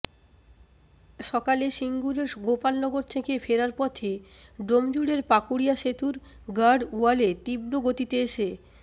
সকালে সিঙ্গুরের গোপালনগর থেকে ফেরার পথে ডোমজুড়ের পাকুড়িয়া সেতুর গার্ডওয়ালে তীব্র গতিতে এসে